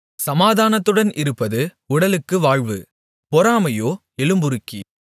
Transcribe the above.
சமாதானத்துடன் இருப்பது உடலுக்கு வாழ்வு பொறாமையோ எலும்புருக்கி